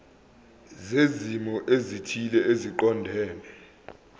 zezimo ezithile eziqondene